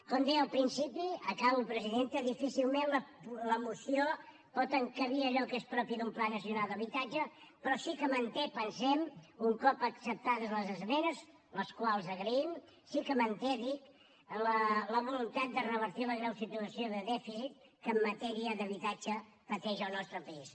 com deia al principi acabo presidenta difícilment la moció pot encabir allò que és propi d’un pla nacional d’habitatge però sí que manté pensem un cop acceptades les esmenes les quals agraïm la voluntat de revertir la greu situació de dèficit que en matèria d’habitatge pateix el nostre país